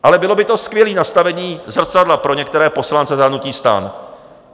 Ale bylo by to skvělé nastavení zrcadla pro některé poslance za hnutí STAN.